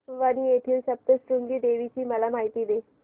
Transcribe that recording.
वणी येथील सप्तशृंगी देवी ची मला माहिती दे